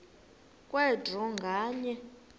kwe draw nganye